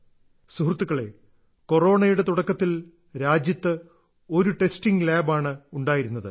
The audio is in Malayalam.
സുഹൃത്തുക്കളെ കൊറോണയുടെ തുടക്കത്തിൽ രാജ്യത്ത് ഒരു ടെസ്റ്റിംഗ് ലാബ് ആണ് ഉണ്ടായിരുന്നത്